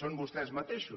són vostès mateixos